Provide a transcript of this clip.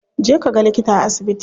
Je kaga likita a asibiti.